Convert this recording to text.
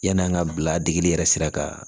Yann'an ka bila degeli yɛrɛ sira kan